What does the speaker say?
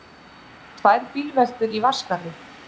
Tvær bílveltur í Vatnsskarði